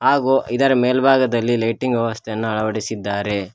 ಹಾಗು ಇದರ ಮೇಲ್ಭಾಗದಲ್ಲಿ ಲೈಟಿಂಗ್ ವ್ಯವಸ್ಥೆಯನ್ನ ಅಳವಡಿಸಿದ್ದಾರೆ.